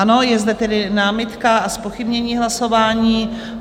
Ano, je zde tedy námitka a zpochybnění hlasování.